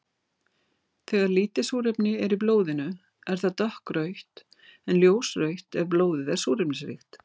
Þegar lítið súrefni er í blóðinu er það dökkrautt en ljósrautt ef blóðið er súrefnisríkt.